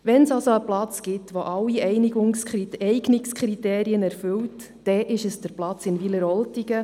Wenn es also einen Platz gibt, der alle Eignungskriterien erfüllt, dann ist es der Platz in Wileroltigen.